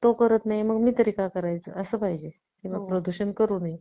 करत नाही तर मी तरी का करायचं असा असावा किंवा प्रदूषण करू नये